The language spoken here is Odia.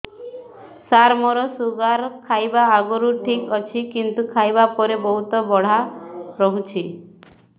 ସାର ମୋର ଶୁଗାର ଖାଇବା ଆଗରୁ ଠିକ ଅଛି କିନ୍ତୁ ଖାଇବା ପରେ ବହୁତ ବଢ଼ା ରହୁଛି